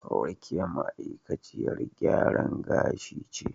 Rekiya ma'aikaciyar gyaran gashi ce.